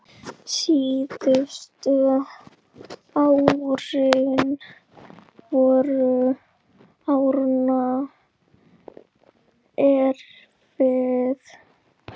Síðustu árin voru Árna erfið.